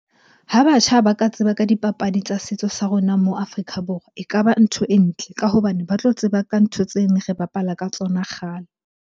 Ha batjha ba ka tseba ka dipapadi tsa setso sa rona mo Afrika Borwa e ka ba ntho e ntle. Ka hobane ba tlo tseba ka ntho tse ne re bapala ka tsona kgale.